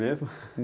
Mesmo?